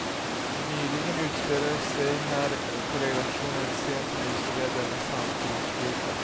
Nyligen utspelade sig här på redaktionen en scen som illustrerar denna samtidssjuka.